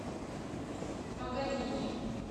паганини